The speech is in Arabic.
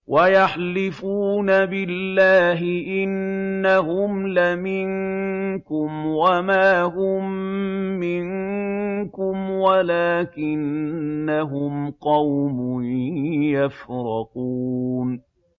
وَيَحْلِفُونَ بِاللَّهِ إِنَّهُمْ لَمِنكُمْ وَمَا هُم مِّنكُمْ وَلَٰكِنَّهُمْ قَوْمٌ يَفْرَقُونَ